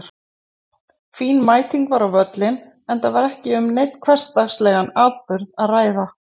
Fín mæting var á völlinn enda var ekki um neinn hversdagslegan atburð að ræða.